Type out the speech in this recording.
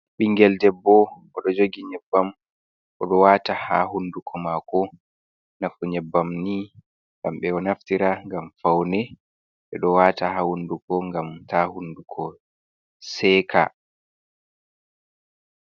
Ɓingel debbo, oɗon jogi yebbam oɗon wata ha hunduko mako, nafu nyebbam ni ngam beɗo naftira ngam faune ɓeɗon wata ha hunduko ngam ta hunduko seka.